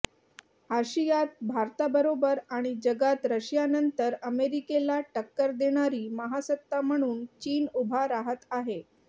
आशियात भारताबरोबर आणि जगात रशियानंतर अमेरिकेला टक्कर देणारी महासत्ता म्हणून चीन उभा राहत आहे